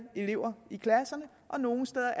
elever i klasserne nogle steder